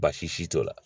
Baasi t'o la